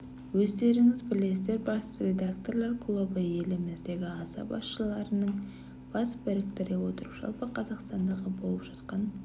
өздеріңіз білесіздер бас редакторлар клубы еліміздегі аса басшыларының бас біріктіре отырып жалпы қазақстандағы болып жатқан